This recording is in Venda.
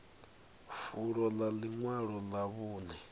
fulo ḽa ḽiṅwalo ḽa vhuṅe